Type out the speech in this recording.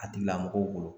A tigila mɔgɔw bolo